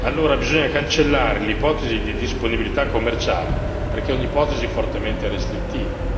Allora bisogna cancellare l'ipotesi di disponibilità commerciale perché è un'ipotesi fortemente restrittiva.